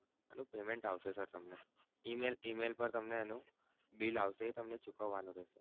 payment આવશે sir તમને Email પર તમને bill આવશે એ ચૂકવાનું રેહશે.